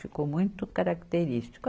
Ficou muito característico.